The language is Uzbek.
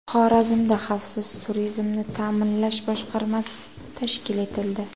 Xorazmda xavfsiz turizmni ta’minlash boshqarmasi tashkil etildi.